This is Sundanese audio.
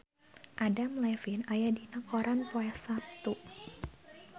Adam Levine aya dina koran poe Saptu